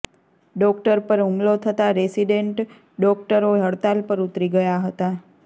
doctor પર હુલમો થતાં રેસિડેન્ડ ડોકટરો હડતાલ પર ઉતરી ગયા હતા